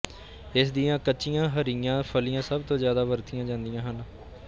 ਇਸਦੀਆਂ ਕੱਚੀਆਂ ਹਰੀਆਂ ਫਲੀਆਂ ਸਭ ਤੋਂ ਜਿਆਦਾ ਵਰਤੀਆਂ ਜਾਂਦੀਆਂ ਹਨ